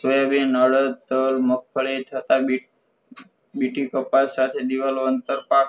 soybean, અડદ, તલ, માગફળી, તથા બીટ બિટિકપાસ સાથે દિવલ આંતરપાક